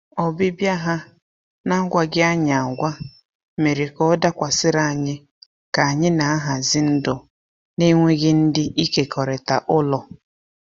Ọbịbịa ha n’agwaghị anyi agwa mere ka ọ dakwasịrị anyị ka anyị na-ahazi ndụ na-enweghị ndị ịkekọrịta ụlọ.